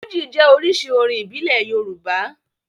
Fújì jẹ́ oríṣi orin ìbílẹ̀ Yorùbá.